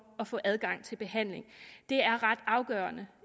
at få adgang til behandling det er ret afgørende